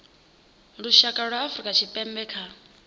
lushaka lwa afrika tshipembe kha